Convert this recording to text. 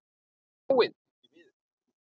Hann er dáinn, því miður.